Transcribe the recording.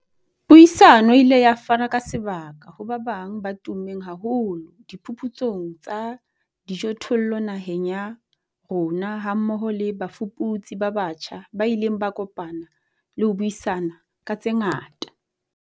Puisano e ile ya fana ka sebaka ho ba bang ba tummeng haholo diphuputsong tsa dijothollo naheng ya rona hammoho le bafuputsi ba batjha ba ileng ba kopana le ho buisana ka tse ngata.